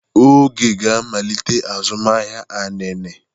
Oge ga-amalite azụmahịa inine.